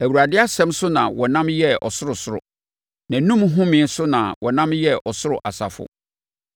Awurade asɛm so na wɔnam yɛɛ ɔsorosoro, nʼanom homeɛ so na wɔnam yɛɛ ɔsoro asafo.